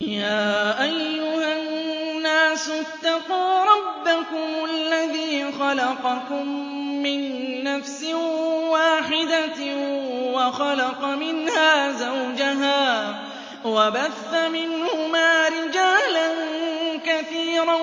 يَا أَيُّهَا النَّاسُ اتَّقُوا رَبَّكُمُ الَّذِي خَلَقَكُم مِّن نَّفْسٍ وَاحِدَةٍ وَخَلَقَ مِنْهَا زَوْجَهَا وَبَثَّ مِنْهُمَا رِجَالًا كَثِيرًا